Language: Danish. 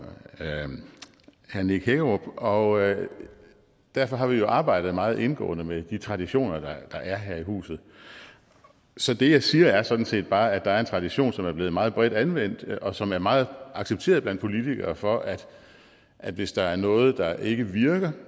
herre nick hækkerup og derfor har vi jo arbejdet meget indgående med de traditioner der er her i huset så det jeg siger er sådan set bare at der er en tradition som er blevet meget bredt anvendt og som er meget accepteret blandt politikere for at at hvis der er noget der ikke virker